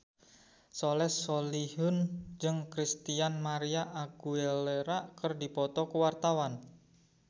Soleh Solihun jeung Christina María Aguilera keur dipoto ku wartawan